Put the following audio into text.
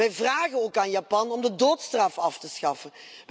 Wij vragen ook aan Japan om de doodstraf af te schaffen.